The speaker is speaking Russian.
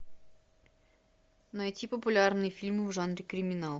найти популярные фильмы в жанре криминал